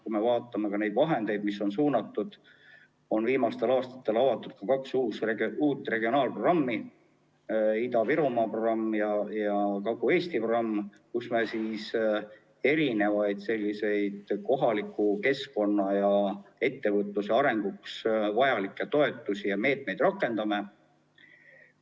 Kui me vaatame neid vahendeid, mis on suunatud, siis viimastel aastatel on avatud ka kaks uut regionaalprogrammi, Ida-Virumaa programm ja Kagu-Eesti programm, millega me kohaliku keskkonna ja ettevõtluse arenguks vajalikke toetusi ja meetmeid rakendame.